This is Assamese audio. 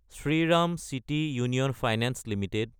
Shriram city union finance Ltd